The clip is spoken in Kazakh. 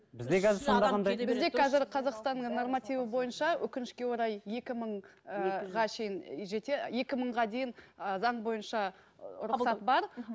бізде қазір қазақстанның нормативі бойынша өкінішке орай екі мың ыыы шейін екі мыңға дейін ы заң бойынша ы рұқсат бар мхм